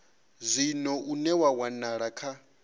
zwino une wa wanala kha